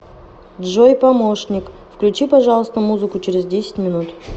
джой помощник включи пожалуйста музыку через десять минут